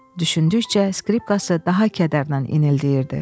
Düşündükcə skripkası daha kədərlə inildəyirdi.